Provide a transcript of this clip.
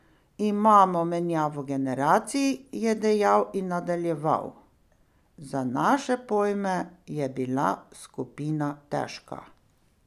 Imamo menjavo generacij," je dejal in nadaljeval: "Za naše pojme je bila skupina težka.